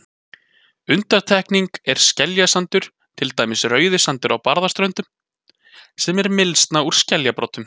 Undantekning er skeljasandur, til dæmis Rauðisandur á Barðaströnd, sem er mylsna úr skeljabrotum.